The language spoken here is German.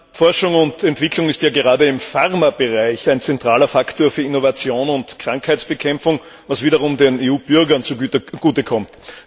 Herr Präsident! Forschung und Entwicklung ist ja gerade im Pharmabereich ein zentraler Faktor für Innovation und Krankheitsbekämpfung, was wiederum den EU Bürgern zugute kommt.